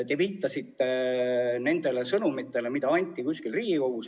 Te viitasite sõnumitele, mida anti kuskil Riigikogus.